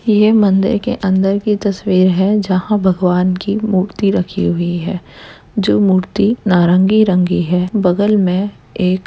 यह मंदिर के अंदर की तस्वीर है जहाँ भगवान की मूर्ति रखी हुई है जो मूर्ति नारंगी रंग की है। बगल में एक --